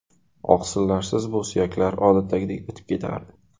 Oqsillarsiz bu suyaklar odatdagidek bitib ketardi.